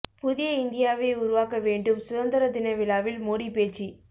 புதிய இந்தியாவை உருவாக்க வேண்டும் சுதந்தர தின விழாவில் மோடி பேச்சு